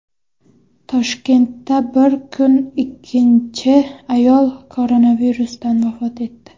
Toshkentda bir kunda ikkinchi ayol koronavirusdan vafot etdi.